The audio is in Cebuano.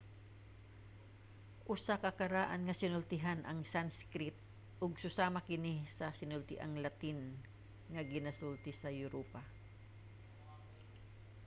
usa ka karaan nga sinultian ang sanskrit ug susama kini sa sinultiang latin nga ginasulti sa europa